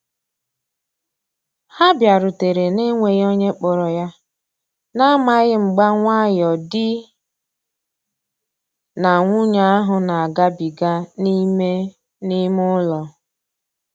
Ha biarutere na-enweghi onye kporo ya, na amaghi mgba nwayo di na nwunye ahu na agabiga n'ime n'ime ụlọ.